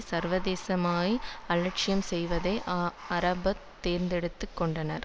சர்வசாதாரணமாய் அலட்சியம் செய்வதை அரபாத் தேர்ந்தெடுத்து கொண்டார்